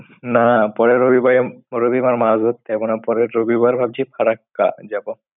না পরের রবিবারে রবিবার মাছ ধরতে যাব না। পরের রবিবার ভাবছি ফারাক্কা যাব।